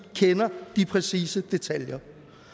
kender de præcise detaljer